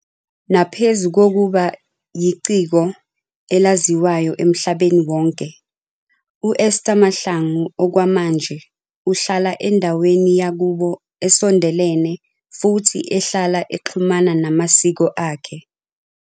Naphezu kokuba yiciko elaziwa emhlabeni wonke, u-Esther Mahlangu okwamanje uhlala endaweni yakubo esondelene futhi ehlala exhumana namasiko akhe.